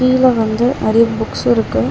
கீழ வந்து நெறைய புக்ஸ் இருக்கு.